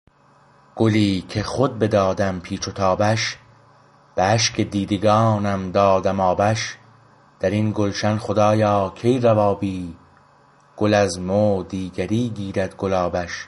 گلی که خود بدادم پیچ و تابش به اشک دیدگانم دادم آبش درین گلشن خدایا کی روا بی گل از مو دیگری گیرد گلابش